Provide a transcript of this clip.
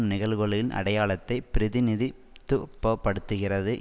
நிகழ்வுகளின் அடையாளத்தை பிரதிநிதித்துப்படுத்துகிறது